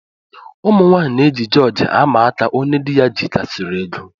Ụmụnwanyị na eji jorji ama aka ónyé dị ya jikarisiri égo.